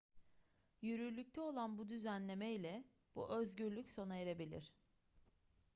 yürürlükte olan bu düzenlemeyle bu özgürlük sona erebilir